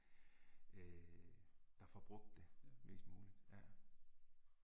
Øh der får brugt det, mest muligt, ja